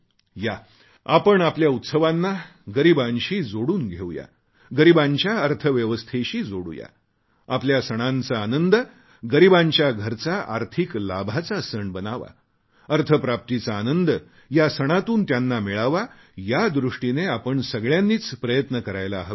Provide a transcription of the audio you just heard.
या आपण आपल्या उत्सवांना गरीबांशी जोडून घेऊ या गरीबांच्या अर्थव्यवस्थेशी जोडूया आपल्या सणांचा आनंद गरीबांच्या घरचा आर्थिक लाभाचा सण बनावा अर्थप्राप्तीचा आनंद या सणातून त्यांना मिळावा यादृष्टीने आपण सगळ्यांनीच प्रयत्न करायला हवेत